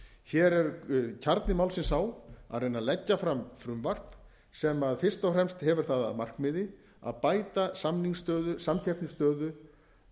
hér er kjarni málsins sá að reyna að leggja fram frumvarp sem fyrst og fremst hefur það að markmiði að bæta samningsstöðu samkeppnisstöðu